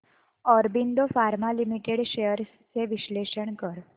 Aurobindo pharma limited shares चे विश्लेषण कर